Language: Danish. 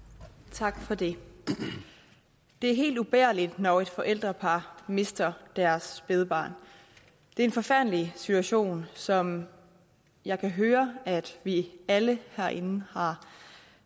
tak for det det er helt ubærligt når et forældrepar mister deres spædbarn det er en forfærdelig situation som jeg kan høre at vi alle herinde har